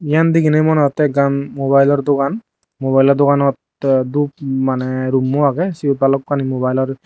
iyan deginey mone otte ekkan mobilo dogan mobileo dogananot dhup mane roommo age sut bhalokkani mobile or.